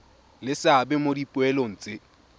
le seabe mo dipoelong tse